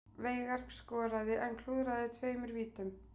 Veigar skoraði en klúðraði tveimur vítum